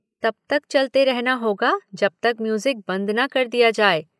तब तक चलते रहना होगा जब तक म्यूज़िक बंद न कर दिया जाए।